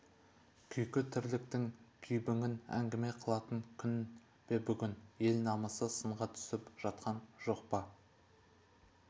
күйкі тірліктің күйбіңін әңгіме қылатын күн бе бүгін ел намысы сынға түсіп жатқан жоқ па